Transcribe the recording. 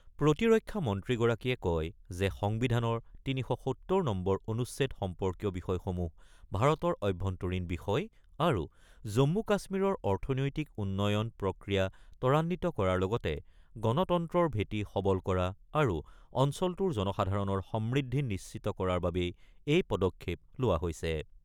প্ৰতিৰক্ষা মন্ত্ৰীগৰাকীয়ে কয় যে সংবিধানৰ ৩৭০ নম্বৰ অনুচ্ছেদ সম্পৰ্কীয় বিষয়সমূহ ভাৰতৰ অভ্যন্তৰীণ বিষয় আৰু জম্মু-কাশ্মীৰৰ অৰ্থনৈতিক উন্নয়নৰ প্ৰক্ৰিয়া ত্বৰান্বিত কৰাৰ লগতে গণতন্ত্ৰৰ ভেটি সবল কৰা আৰু অঞ্চলটোৰ জনসাধাৰণৰ সমৃদ্ধি নিশ্চিত কৰাৰ বাবেই এই পদক্ষেপ লোৱা হৈছে।